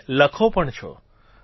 અને લખો પણ છો